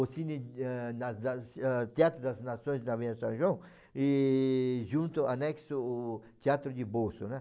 O Cine eh das das eh Teatro das Nações da Avenida São João e junto, anexo o Teatro de Bolso, né.